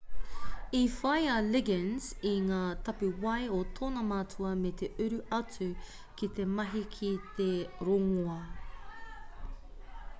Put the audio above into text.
i whai a liggins i ngā tapuwae o tōna matua me te uru atu ki te mahi ki te rongoā